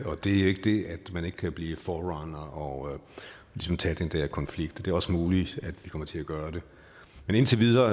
det er jo ikke det at man ikke kan blive forerunner og ligesom tage den der konflikt og det er også muligt at vi kommer til at gøre det men indtil videre